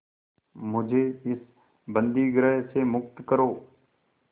मुझे इस बंदीगृह से मुक्त करो